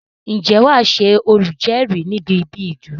Ǹjẹ́ wàá Ṣe olùjérìí níbi íbi ìdúró